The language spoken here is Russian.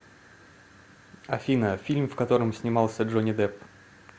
афина фильм в котором снимался джони деп